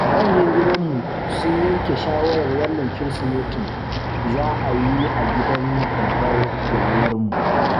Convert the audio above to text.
Manyan gidanmu sun yanke shawarar wannan Kirsimetin za'a yi a gidan babbar yayarmu.